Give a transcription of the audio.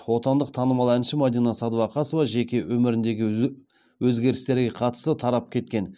отандық танымал әнші мадина сәдуақасова жеке өміріндегі өзгерістерге қатысты тарап кеткен